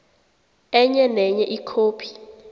enye nenye ikhophi